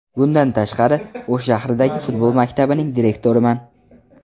Bundan tashqari O‘sh shahridagi futbol maktabining direktoriman.